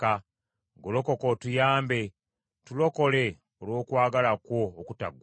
Golokoka otuyambe; tulokole olw’okwagala kwo okutaggwaawo.